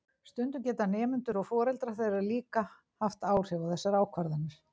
stundum geta nemendur og foreldrar þeirra líka haft áhrif á þessar ákvarðanir